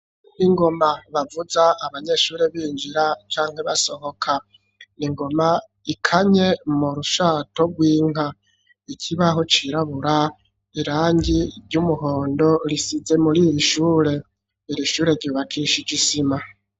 Ingoma bavuza abanyeshuri binjira canke basohoka. Ni ingoma ikanye mu rushato rw'inka, ikibaho cirabura, irangi ry'umuhondo risize muri iri shure. Iri shure ryubakishije isima.